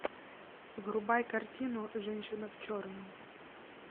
врубай картину женщина в черном